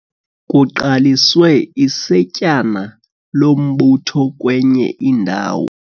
Kuqaliswe isetyana lombutho kwenye indawo.